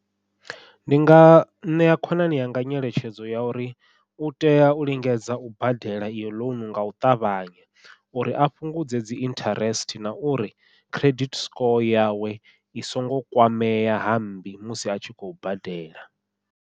Ndi nga ṋea khonani yanga nyeletshedzo ya uri u tea u lingedza u badela iyo ḽounu ngau ṱavhanya, uri a fhungudze dzi interest na uri credit score yawe i so ngo kwamea hammbi musi a tshi khou badela.